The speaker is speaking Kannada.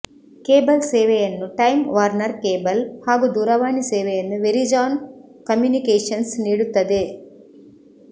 ಕೇಬಲ್ ಸೇವೆಯನ್ನು ಟೈಮ್ ವಾರ್ನರ್ ಕೇಬಲ್ ಹಾಗು ದೂರವಾಣಿ ಸೇವೆಯನ್ನು ವೆರಿಜಾನ್ ಕಮ್ಯುನಿಕೇಶನ್ಸ್ ನೀಡುತ್ತದೆ